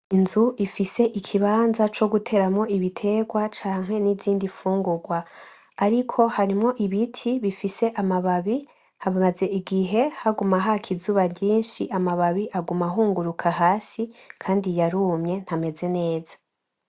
inzu ifise ikibaza coguteramwo ibitegwa canke n'izindi fungugwa, ariko harimwo ibiti bifise amababi hamaze igihe haguma haka izuba ryinshi amababi aguma ahunguruka hasi kandi yarumye ntameze neza